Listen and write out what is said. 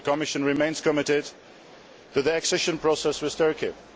The Commission remains committed to the accession process with Turkey.